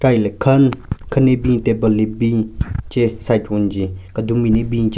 Ka hile khen khen ne bin table le bin che side wenge kedun bin le bin che.